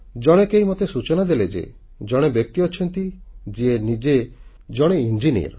ଜଣେ କେହି ମୋତେ ସୂଚନା ଦେଲେ ଯେ ଜଣେ ବ୍ୟକ୍ତି ଅଛନ୍ତି ଯିଏ ନିଜେ ଜଣେ ଇଞ୍ଜିନିୟର